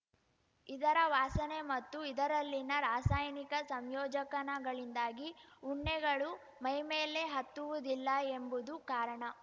ಇದರ ವಾಸನೆ ಮತ್ತು ಇದರಲ್ಲಿನ ರಾಸಾಯನಿಕ ಸಂಯೋಜಕನಗಳಿಂದಾಗಿ ಉಣ್ಣೆಗಳು ಮೈಮೇಲೆ ಹತ್ತುವುದಿಲ್ಲ ಎಂಬುದು ಕಾರಣ